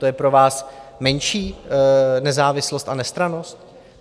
To je pro vás menší nezávislost a nestrannost?